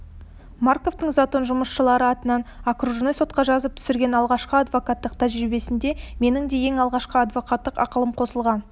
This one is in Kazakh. марковтың затон жұмысшылары атынан окружной сотқа жазып түсірген алғашқы адвокаттық тәжірибесіне менің де ең алғашқы адвокаттық ақылым қосылған